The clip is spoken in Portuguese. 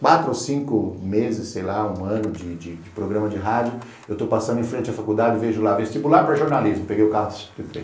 Quatro ou cinco meses, sei lá, um ano de de programa de rádio, eu estou passando em frente à faculdade e vejo lá, vestibular para jornalismo, peguei o carro e entrei.